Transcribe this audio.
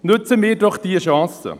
Nutzen wir diese Chance!